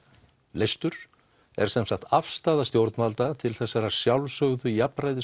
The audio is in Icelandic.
leystur er sem sagt afstaða stjórnvalda til þessara sjálfsögðu